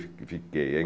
Fiquei.